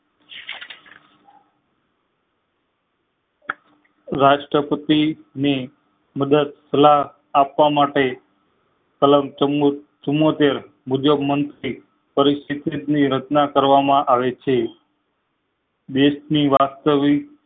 રાષ્ટ્રપતી ની મદદ આપવા માટે કલમ ચુંમોતેર મુજબ પરિસ્થિતિ ની રચના કરવા માં આવે છે દેશ ની વાસ્તવિક